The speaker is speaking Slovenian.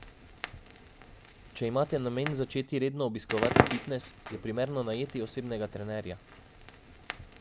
Če imate namen začeti redno obiskovati fitnes, je primerno najeti osebnega trenerja.